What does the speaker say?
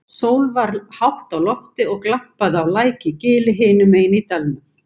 Sól var hátt á lofti og glampaði á læk í gili hinum megin í dalnum.